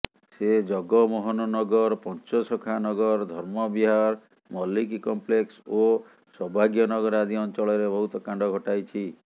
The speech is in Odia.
ସେ ଜଗମୋହନନଗର ପଞ୍ଚସଖା ନଗର ଧର୍ମବିହାର ମଲ୍ଲିକ କମ୍ପ୍ଲେକ୍ସ ଓ ସୌଭାଗ୍ୟନଗର ଆଦି ଅଞ୍ଚଳରେ ବହୁତ କାଣ୍ଡ ଘଟାଇଛି